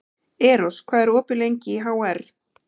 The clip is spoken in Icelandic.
Eros, hvað er lengi opið í HR?